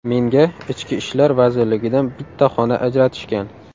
Menga Ichki ishlar vazirligidan bitta xona ajratishgan.